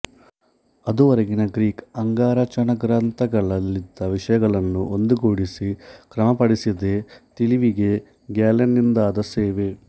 ಅದುವರೆಗಿನ Greek ಅಂಗರಚನಾಗ್ರಂಥಗಳಲ್ಲಿದ್ದ ವಿಷಯಗಳನ್ನು ಒಂದುಗೂಡಿಸಿ ಕ್ರಮಪಡಿಸಿದ್ದೇ ತಿಳಿವಿಗೆ ಗ್ಯಾಲೆನ್ನನಿಂದಾದ ಸೇವೆ